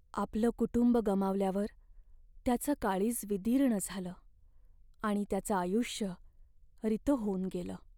आपलं कुटुंब गमावल्यावर त्याचं काळीज विदीर्ण झालं आणि त्याचं आयुष्य रितं होऊन गेलं.